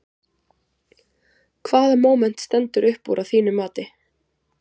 Hvaða móment stendur upp úr að þínu mati?